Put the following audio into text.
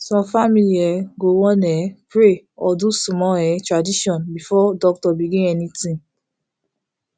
some family um go wan um pray or do small um tradition before doctor begin anything